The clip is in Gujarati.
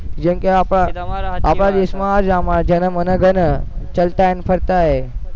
જેમકે આપણા આપણા દેશમાં જેના મને છે ને ચલતા હૈ ફરતા હૈ